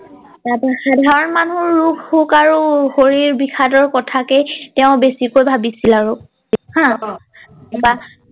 তাৰ পিছত সাধাৰণ মানুহ ৰোগ সোগ আৰু শৰীৰ বিষাদৰ কথাকে তেওঁ বেছিকৈ ভাবিছিল আৰু হা অ উম তাপা